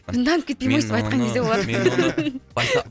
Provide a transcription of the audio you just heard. жынданып кетпей ме өстіп айтқан кезде олар